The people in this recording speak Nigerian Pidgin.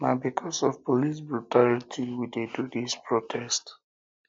na because of police brutality we de do dis protest